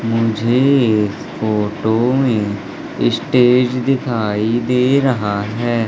मुझे इस फोटो में स्टेज दिखाई दे रहा है।